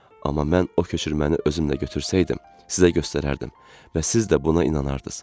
Amma mən o köçürməni özümlə götürsəydim, sizə göstərərdim və siz də buna inanardınız.